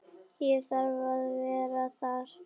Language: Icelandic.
Ég þarf að vera þar.